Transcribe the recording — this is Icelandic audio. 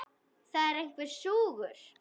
Það er einhver súgur.